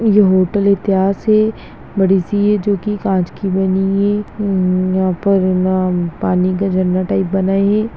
ये होटल इतिहास है बड़ी-सी है जो की कांच की बनी है यहाँ पर पानी का झरना टाइप बनाई है।